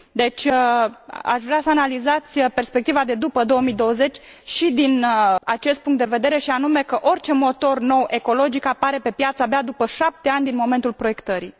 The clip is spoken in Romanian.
Deci, aș vrea să analizați perspectiva de după 2020 și din acest punct de vedere, și anume că orice motor nou ecologic apare pe piață abia după șapte ani din momentul proiectării.